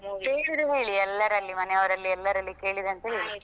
ಕೇಳಿದೆ ಹೇಳಿ ಎಲ್ಲಾರಲ್ಲಿ ಮನೆಯವರೆಲ್ಲಾ ಎಲ್ಲಾರಲ್ಲಿ ಕೇಳಿದೆಂತ ಹೇಳಿ.